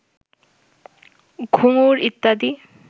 ঘুঙুর ইত্যাদি